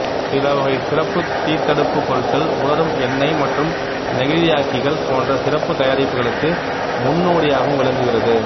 சிலவகை சிறப்புத் தீத்தடுப்பு பொருட்கள் உலரும் எண்ணெய் மற்றும் நெகிழியாக்கிகள் போன்ற சிறப்புத் தயாரிப்புகளுக்கு முன்னோடியாகவும் விளங்குகிறது